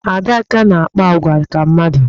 Adaká na-akpa agwa ka mmadụ.